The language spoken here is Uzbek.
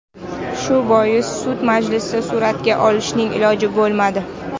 Shu bois sud majlisni sur’atga olishning iloji bo‘lmadi.